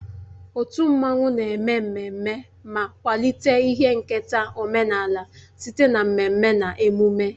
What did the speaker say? Otu mmanwụ na-eme mmemme ma kwalite ihe nketa omenala site na mmemme na emume